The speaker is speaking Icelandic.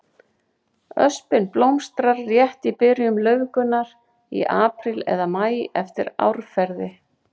Öspin blómstrar rétt í byrjun laufgunar, í apríl eða maí eftir árferði.